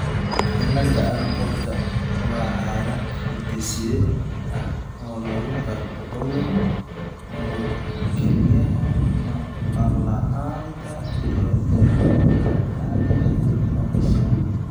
Cilada Alportka waa xaalad hidde-side ah oo lagu garto cudur kelyaha, maqal la'aan, iyo cillado aan caadi ahayn oo isha ah.